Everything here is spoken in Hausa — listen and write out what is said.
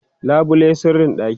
labule sirrin ɗaki